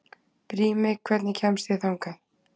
Brími, hvernig kemst ég þangað?